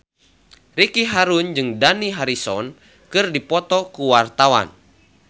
Ricky Harun jeung Dani Harrison keur dipoto ku wartawan